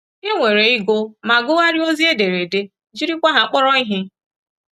E nwere ịgụ ma gụgharịa ozi ederede — jirikwa ha kpọrọ ihe.